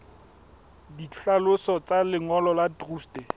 ditlhaloso tsa lengolo la truste